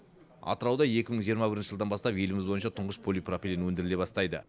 атырауда екі мың жиырма бірінші жылдан бастап еліміз бойынша тұңғыш полипропилен өндіріле бастайды